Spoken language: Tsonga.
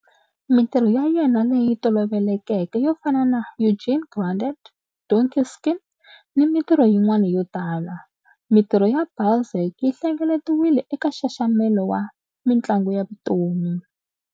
Mintirho ya yena leyi tolovelekeke yo fana na Eugénie Grandet, Donkey Skin, ni mintirho yin'wana yo tala. Mintirho ya Balzac yi hlengeletiwile eka nxaxamelo wa Mintlangu ya Vutomi.